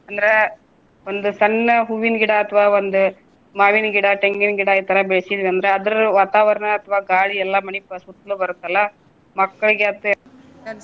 ಅಂದ್ರೆ ಒಂದು ಸಣ್ಣ ಹೂವಿನ್ ಗಿಡ ಅಥವಾ ಒಂದು ಮಾವಿನ್ ಗಿಡ, ತೆಂಗಿನ್ ಗಿಡ ಇತರಾ ಬೆಳಸಿದ್ವಿ ಅಂದ್ರ ಅದರ ವಾತಾವರಣ ಅಥವಾ ಗಾಳಿ ಎಲ್ಲಾ ಮನಿ ಸುತ್ಲು ಬರುತ್ತಲ್ಲ ಮಕ್ಕಳಿಗೆ .